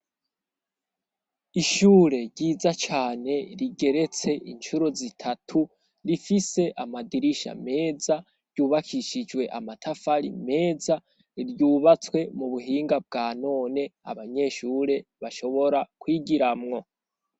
Ishure ryiza cane rigeretse incuro zitatu, rifise amadirisha meza, ryubakishijwe amatafari meza, ryubatswe mu buhinga bwa none abanyeshure bashobora kwigiramwo.